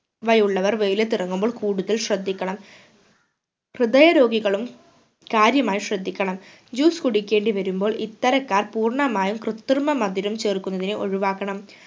ഇവയുള്ളവർ വെയിലത്തു ഇറങ്ങുമ്പോൾ കൂടുതൽ ശ്രദ്ധിക്കണം ഹൃദയ രോഗികളും കാര്യമായി ശ്രദ്ധിക്കണം juice കുടിക്കേണ്ടി വരുമ്പോൾ ഇത്തരക്കാർ പൂർണ്ണമായും കൃതൃമ മധുരം ചേർക്കുന്നതിനെ ഒഴിവാക്കണം